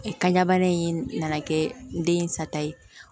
Kanɲa bana in nana kɛ n den sata ye